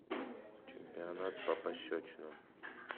чемпионат по пощечинам